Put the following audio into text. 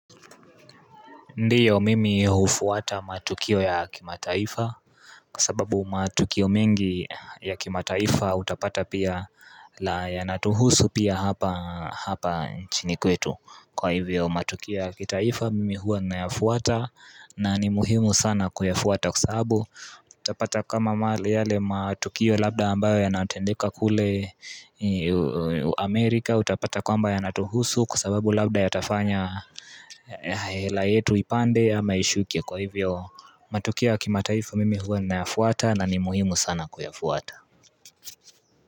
Ndio mimi hufuata matukio ya kimataifa kwa sababu matukio mengi ya kimataifa utapata pia yanatuhusu pia hapa chini kwetu Kwa hivyo matukio ya kitaifa mimi huwa ninayafuata na ni muhimu sana kuyafuata kwa sababu Utapata kama yale matukio labda ambayo yanatendeka kule Amerika Utapata kwamba yanatuhusu kwa sababu labda yatafanya hela yetu ipande ama ishuke Kwa hivyo matukio wa kimataifa mimi huwa ninayafuata na ni muhimu sana kuyafuata.